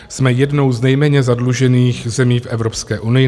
Jsme jednou z nejméně zadlužených zemí v Evropské unii.